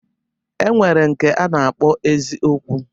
E nwere nke a na-akpọ eziokwu.